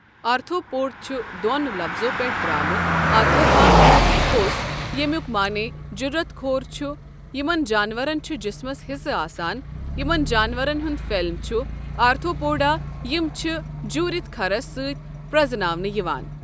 Arthropod چھُ دون لفظو پؠٹھ دارومت آرتھرواں تہِ پوس یمُک معنی جورت کھور چھُ یمن جانوَرَن چھُ جسمس ہسہٕ آسان یمن جانورن ہُنٛد فیلم چھُ آرتھوپوڈا یم چھ جورتھ کھرس سعت پرذناونہٕ یوان۔